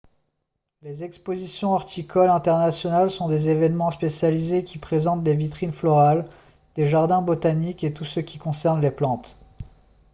les expositions horticoles internationales sont des événements spécialisés qui présentent des vitrines florales des jardins botaniques et tout ce qui concerne les plantes